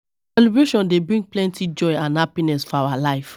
Celebration dey bring plenty joy and happiness for our life.